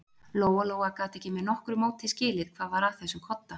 Lóa-Lóa gat ekki með nokkru móti skilið hvað var að þessum kodda.